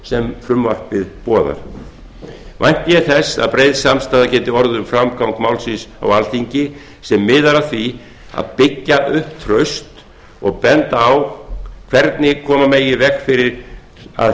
sem frumvarpið boðar vænti ég þess að breið samstaða geti orðið um framgang málsins á alþingi sem miðar að því að byggja upp traust og benda á hvernig koma megi í veg fyrir að